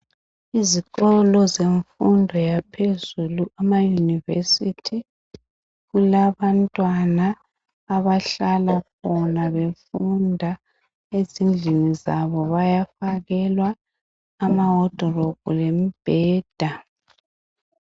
Izikolo zemfundo yaphezulu amaunivesithi kulabantwana abahlala khona befunda. Ezindlini zabo bayafakelwa amawodilophu lemibheda .